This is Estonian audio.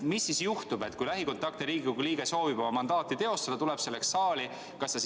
Mis juhtub siis, kui lähikontaktne Riigikogu liige soovib oma mandaati teostada ja tuleb selleks saali?